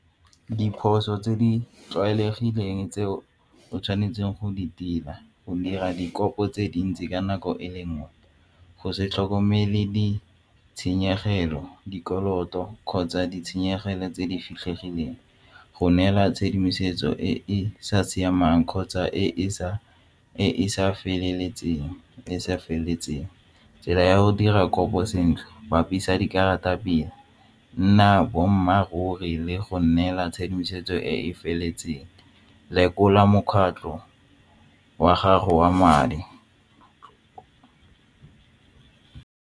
Diphoso tse di tlwaelegileng tseo o tshwanetseng go di tila go dira dikopo tse dintsi ka nako e le nngwe go se tlhokomele ditshenyegelo, dikoloto kgotsa ditshenyegelo tse di fitlhegileng go neela tshedimosetso e e sa siamang kgotsa e e sa feleletseng le sa feleletseng tsela ya go dira kopo sentle bapisa dikarata pila, nna boammaruri le go nnela tshedimosetso e e feletseng, lekola mokgatlho wa gago wa madi.